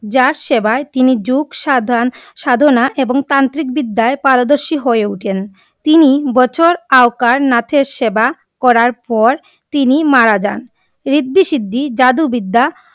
যার সেবা তিনি যোগ সাধনা আর তান্ত্রিক বিদ্যয়ে পরদর্শী হয়ে উঠেন । তিন বছর আবকার নাথের সেবা করার পর তিনি মারা জান। ঋদ্ধি সিদ্ধি, জাদু বিদ্যা!